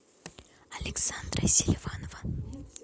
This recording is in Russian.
александра селиванова